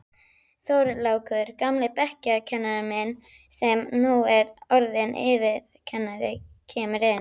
Þorlákur, gamli bekkjarkennarinn sem nú er orðinn yfirkennari, kemur inn.